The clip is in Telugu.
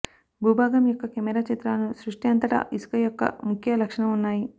భూభాగం యొక్క కెమెరా చిత్రాలను సృష్టి అంతటా ఇసుక యొక్క ముఖ్య లక్షణం ఉన్నాయి